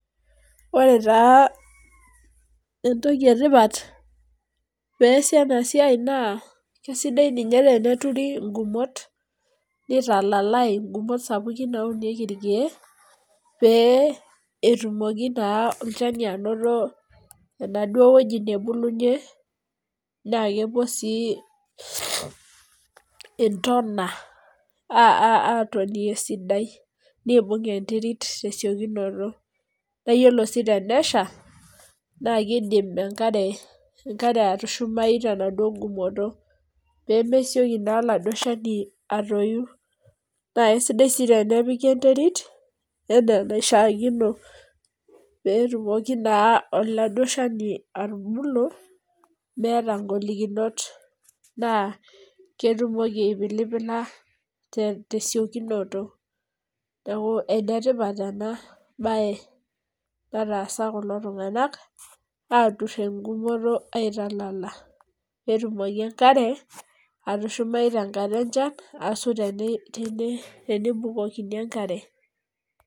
Ore taa entoki etipat peesi enasiai naa, kesidai ninye teneturi igumot, nitalalai igumot sapukin naunieki irkeek, pee etumoki naa olchani anoto enaduo woji nebulunye, na kepuo si intona atoni esidai. Nibung' enterit tesiokinoto. Na yiolo si tenesha, na kidim enkare atushumayu tenaduo gumoto. Pemeseki naa aladuo shani atoyu. Na aisidai si tenepiki enterit, enaa enaishaakino. Petumoki naa aladuo shani atubulu, meeta golikinot. Naa ketumoki aipilipila tesiokinoto. Neeku enetipat ena bae nataasa kulo tung'anak, atur egumoto aitalala. Petumoki enkare, atushumayu tenkata enchan, asu tenebukokini enkare.